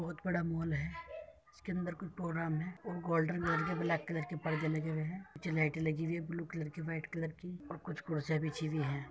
बहुत बड़ा मोल है। इसके अंदर कोई प्रोग्राम है और गोल्डन कलर के ब्लैक कलर के पर्दे लगे हुए हैं। पीछे लाइटें लगी हुई ब्लू कलर की व्हाइट कलर की और कुछ कुर्सियां बिछी हुई हैं।